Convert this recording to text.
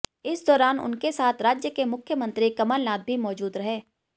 इस दौरान उनके साथ राज्य के मुख्यमंत्री कमलनाथ भी मौजूद रहे